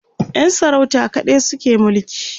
Yan sarauta kaɗai suke mulki